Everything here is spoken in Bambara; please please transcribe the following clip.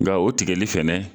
Nka o tigɛli fɛnɛ